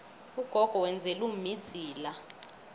ugogo wenzela umma idzila